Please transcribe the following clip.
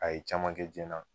A ye caman kɛ jɛn na